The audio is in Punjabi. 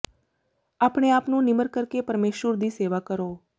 ਆਪਣੇ ਆਪ ਨੂੰ ਨਿਮਰ ਕਰ ਕੇ ਪਰਮੇਸ਼ੁਰ ਦੀ ਸੇਵਾ ਕਰੋ